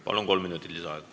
Palun, kolm minutit lisaaega!